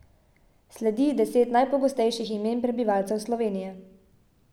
Sledi deset najpogostejših imen prebivalcev Slovenije.